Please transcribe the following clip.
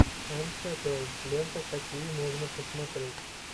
энн хэтэуэй ленты какие можно посмотреть